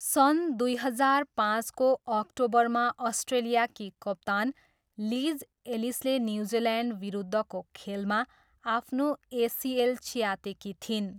सन् दुई हजार पाँचको अक्टोबरमा अस्ट्रेलियाकी कप्तान लिज एलिसले न्युजिल्यान्डविरुद्धको खेलमा आफ्नो एसिएल च्यातेकी थिइन्।